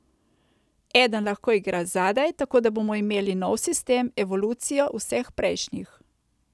Eden lahko igra zadaj, tako da bomo imeli nov sistem, evolucijo vseh prejšnjih.